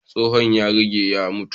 Tsohon ya riga ya mutu.